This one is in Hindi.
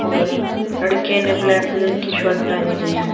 और लड़के ने ब्लैक कलर की शर्ट पेहनी हुई है।